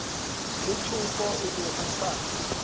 lethoko o ne a sa